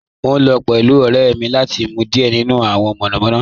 Mo n lọ pẹ̀lú ọ̀rẹ́ mi lati mu diẹ̀ nínu awọn monomono